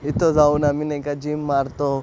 इथं जाऊन आम्ही नाही का जीम मारतो.